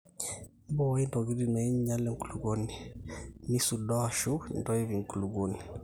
mbooii intokitin naainyal enkulukuoni, nnisudoo aasu intoip inakulukuoni